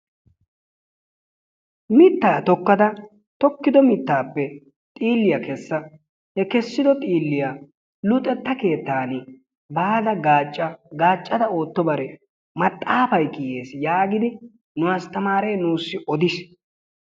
Mittaa tokkada tokkido mittappe xiilliyaa keessa he keessido xiilliyaa luxxettaa keettaani baada gaacca. gaaccada oottobare maxaafay kiyees yaagidi nu astaamaree nuusi odiis.